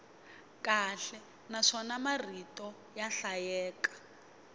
kahle naswona marito ya hlayeka